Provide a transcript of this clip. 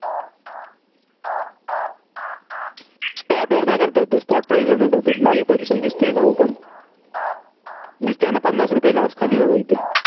spot price वर नाही करता येते ते. spot price नाही करता येत. live position दिसतेय का open दिसतेय ना पन्नास रुपये loss खाली बघा इथे.